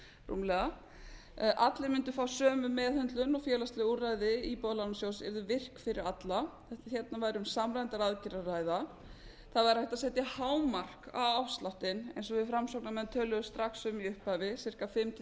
rúmlega allir mundu fá sömu meðhöndlun og félagsleg úrræði íbúðalánasjóðs yrðu virk fyrir alla hérna væri um samræmdar aðgerðir að ræða það væri hægt að setja hámark á afsláttinn eins og við framsóknarmenn töluðu strax um í upphafi ca fimm til